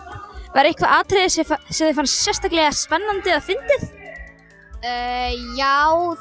var eitthvað atriði sem fannst sérstaklega spennandi eða fyndið já